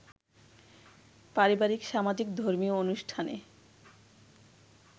পারিবারিক, সামাজিক, ধর্মীয় অনুষ্ঠানে